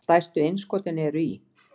Stærstu innskotin eru í